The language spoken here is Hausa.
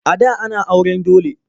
A da ana auren dole.